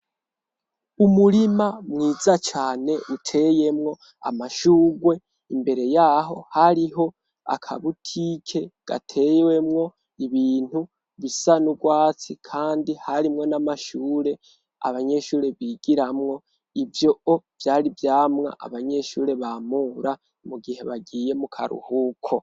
Umurima mwiza cane uteyemwo amashurwe, imbere y'aho hariho akabutike gatewemwo ibintu bisa n'urwatsi kandi harimwo n'amashure abanyeshure bigiramwo, ivyo vyari ivyamwa abanyeshure bamura mu gihe bagiye mu karuhuko.